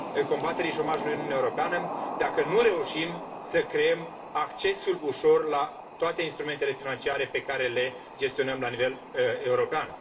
combaterii șomajului în Uniunea Europeană, dacă nu reușim să creăm accesul ușor la toate instrumentele financiare pe care le gestionăm la nivel european.